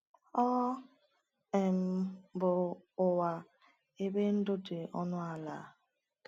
“Ọ um bụ ụwa ebe ndụ dị ọnụ ala.”